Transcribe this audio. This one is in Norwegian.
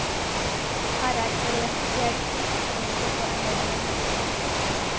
Her er forrevne fjell, lakseelver og enorme multemyrer.